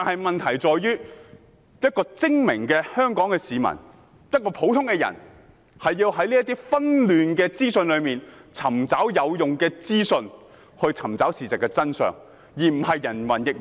問題在於精明的香港市民，要如何在紛亂的資訊中尋找事實真相，而不是人云亦云。